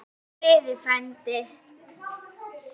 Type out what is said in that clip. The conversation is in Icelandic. Hvíl í friði, frændi.